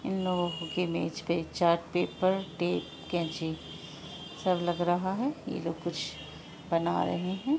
इन लोगों के मेज पर चार्ट पेपर टेप केंची सब लग रहा है ये लोग कुछ बना रहे है।